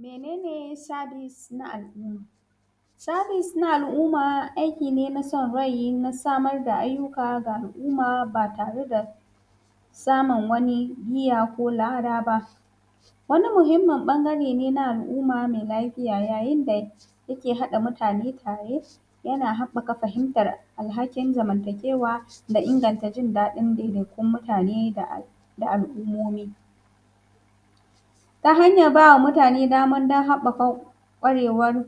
Mene ne sabis na al’umma? Sabis na al’umma aiki ne na san rain a samar da ayyuka ga al’umma ba tare da saman wani niya ko lada ba, wani muhinmmin ɓangre ne na al’umma me lafiya yayin da yake haɗa mutane tare yana haɓɓaka fahimtan alhakin zamantakewa da inganta jin daɗin daidaiton mutane da al’ummomi ta hanyan ba wa nutane daman haɓaka daman kwarewan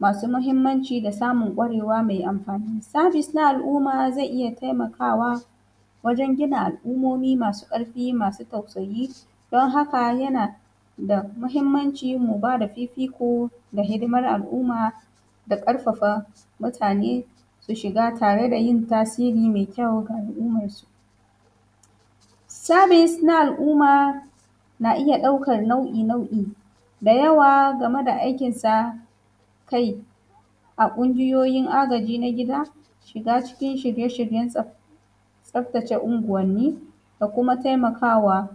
masu mahinmanci da samun kwarewa me amfani. Sabis na al’umma ze iya taimakawa wajen gina al’ummomi masu ƙarfi, masu tausayi don haka yana da mahinmanci mu ba da fifiko da hidimar al’umma da ƙarfafa mutane su shiga tare da yin tasiri me kyau ga alummansu. Sabis na al’umma na iya ɗaukan ɗauki-ɗauki da yawa game da aikin sa kai a ƙungiyoyin agaji na gida shiga cikin ƙungiyan tsaftace unguwanni da kuma taimakawa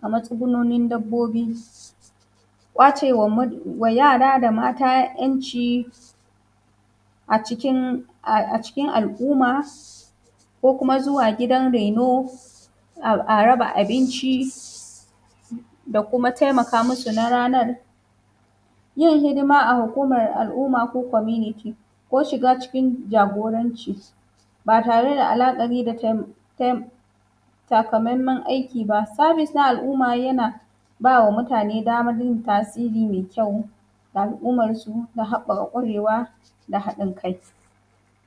ga matsugunin dabbobi, kwacewa yara da mata ‘yanci a cikin al’umma ko kuma zuwa gidan raino a raba abinci da kuma taimaka musu na ranar yin hidima a hukuman al’umma ko kominiti ko shiga cikin jagoranci ba tare da la’akari da takamammen aiki ba, sabis ɗin al’umma yana ba wa mutane daban yin tasiri me kyau ga al’ummansu ta haɓɓaka kwarewa da haɗin kai.